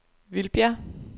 Vildbjerg